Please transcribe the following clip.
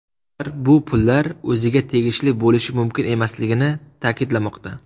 Ular bu pullar o‘ziga tegishli bo‘lishi mumkin emasligini ta’kidlamoqda.